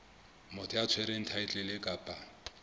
motho ya tshwereng thaetlele kapa